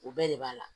O bɛɛ de b'a la